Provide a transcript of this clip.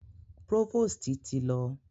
Próvòstì ti lọ.